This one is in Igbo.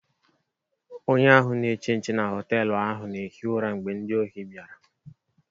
Onye ahụ na-eche nche na họtelu ahụ na-ehi ụra mgbe ndị ohi bịara.